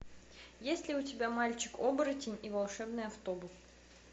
есть ли у тебя мальчик оборотень и волшебный автобус